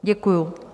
Děkuji.